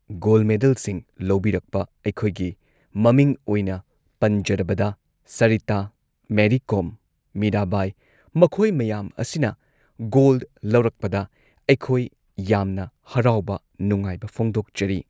goal ꯃꯦꯗꯜꯁꯤꯡ ꯂꯧꯕꯤꯔꯛꯄ ꯑꯩꯈꯣꯏꯒꯤ ꯃꯃꯤꯡ ꯑꯣꯏꯅ ꯄꯟꯖꯔꯕꯗ ꯁꯔꯤꯇꯥ ꯃꯦꯔꯤ ꯀꯣꯝ ꯃꯤꯔꯥꯕꯥꯏ ꯃꯈꯣꯏ ꯃꯌꯥꯝ ꯑꯁꯤꯅ ꯒꯣꯜ ꯂꯧꯔꯛꯄꯗ ꯑꯩꯈꯣꯏ ꯌꯥꯝꯅ ꯍꯔꯥꯎꯕ ꯅꯨꯡꯉꯥꯏꯕ ꯐꯣꯡꯗꯣꯛꯆꯔꯤ